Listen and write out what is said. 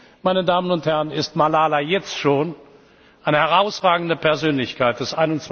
Für mich, meine Damen und Herren, ist Malala jetzt schon eine herausragende Persönlichkeit